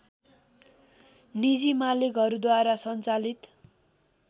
निजी मालिकहरूद्वारा सञ्चालित